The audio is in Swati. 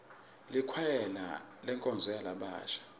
likwayela lenkonzo yalabasha